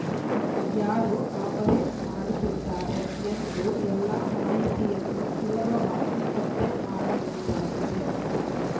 ಯಾರು ಆಪರೇಟ್‌ ಮಾಡುತ್ತಿದ್ದಾರೆ ಎಂದು ಎಲ್ಲ ಮಾಹಿತಿಯನ್ನು ಸುಲಭವಾಗಿ ಪತ್ತೆ ಮಾಡಬಹುದಾಗಿದೆ